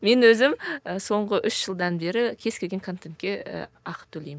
мен өзім і соңғы үш жылдан бері кез келген контентке і ақы төлеймін